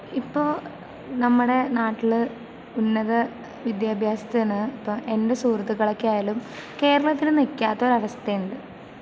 ഇപ്പൊ നമ്മടെ നാട്ടില് ഉന്നത വിദ്യാഭ്യാസത്തിന്... ഇപ്പം എൻ്റെ സുഹൃത്തുക്കളൊക്കെ ആയാലും കേരളത്തില് നിൽക്കാത്ത ഒരവസ്‌ഥയുണ്ട്.